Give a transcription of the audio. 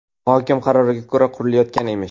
Hokim qaroriga ko‘ra, qurilayotgan emish.